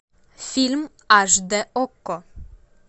фильм аш д окко